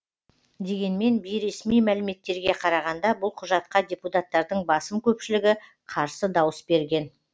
дегенмен бейресми мәліметтерге қарағанда бұл құжатқа депутаттардың басым көпшілігі қарсы дауыс берген